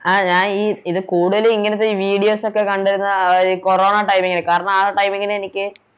ആ ഞാനീ ഇത് കൂടുതലും ഇങ്ങനത്തെ ഈ Videos ഒക്കെ കണ്ടിരുന്നത് ആ ഒര് കൊറോണ Timing ന് കാരണം ആ Timing ന് എനിക്ക്